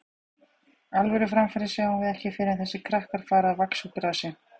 Alvöru framfarir sjáum við ekki fyrr en þessir krakkar fara að vaxa úr grasi.